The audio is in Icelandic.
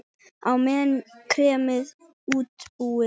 Á meðan er kremið útbúið.